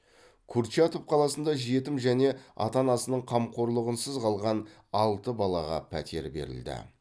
курчатов қаласында жетім және ата анасының қамқорлығынсыз қалған алты балаға пәтер берілді